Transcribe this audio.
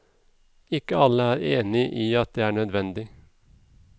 Ikke alle er enige i at det er nødvendig.